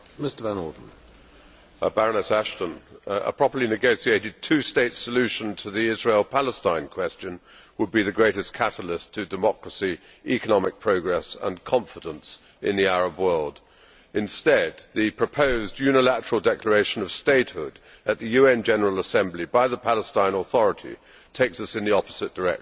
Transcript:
Mr President, a properly negotiated two state solution to the Israel Palestine question would be the greatest catalyst to democracy, economic progress and confidence in the Arab world. Instead, the proposed unilateral declaration of statehood at the UN General Assembly by the Palestine Authority takes us in the opposite direction.